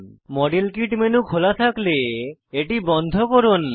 model kit মেনুর খোলা থাকলে এটি বন্ধ করুন